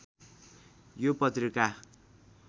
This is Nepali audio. यो पत्रिका